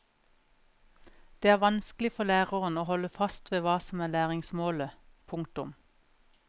Det er vanskelig for læreren å holde fast ved hva som er læringsmålet. punktum